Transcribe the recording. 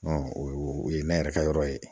o ye ne yɛrɛ ka yɔrɔ ye.